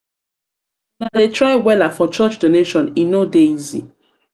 una dey try wella for church donation e no dey easy.